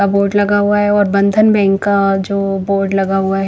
board लगा हुआ है और बंधन बैंक का जो बोर्ड लगा हुआ है--